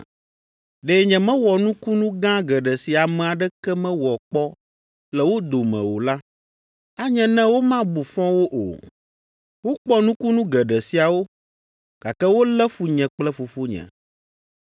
Ɖe nyemewɔ nukunu gã geɖe si ame aɖeke mewɔ kpɔ le wo dome o la, anye ne womabu fɔ wo o; wokpɔ nukunu geɖe siawo, gake wolé fu nye kple Fofonye.